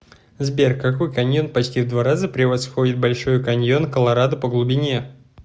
сбер какой каньон почти в два раза превосходит большой каньон колорадо по глубине